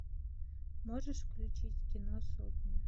можешь включить кино сотня